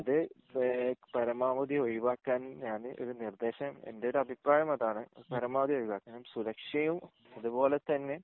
അത് ഏഹ് പരമാവധി ഒഴിവാക്കാൻ ഞാൻ നിർദ്ദേശം എൻ്റെ ഒരു അഭിപ്രായം അതാണ് പരമാവധി ഒഴിവാക്കാൻ സുരക്ഷയും അതുപോലെ തന്നെ